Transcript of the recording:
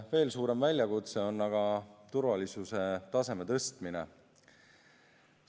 Veel suurem väljakutse on aga turvalisuse taseme tõstmine.